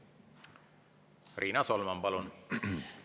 Riina Solman, palun!